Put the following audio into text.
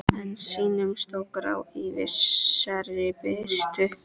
En sýndust þó grá í vissri birtu.